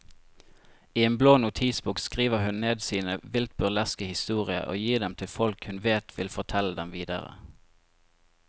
I en blå notisbok skriver hun ned sine vilt burleske historier og gir dem til folk hun vet vil fortelle dem videre.